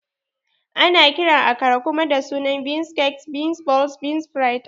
Ana kiran Akara kuma da sunan Bean Cakes, Bean Balls, Bean Fritas